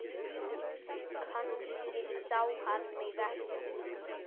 Kannski sá hann mig ekki.